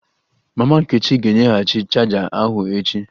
Mama nkechi ga-enyeghachi chaja ahu echi